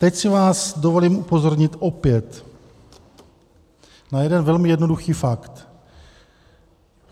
Teď si vás dovolím upozornit opět na jeden velmi jednoduchý fakt.